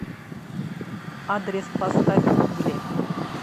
адрес поставь угли